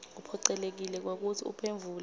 uphocelekile kwekutsi uphendvule